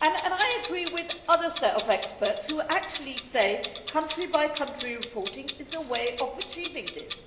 I agree with another set of experts who actually say country by country reporting is a way of achieving this.